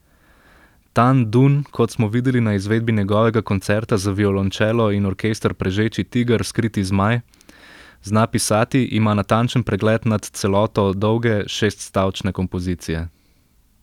Tan Dun, kot smo videli na izvedbi njegovega Koncerta za violončelo in orkester Prežeči tiger, skriti zmaj, zna pisati, ima natančen pregled nad celoto dolge, šeststavčne kompozicije.